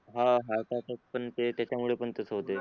हा हा का त्यात पण ते त्याचा मुले पण तसे होतेय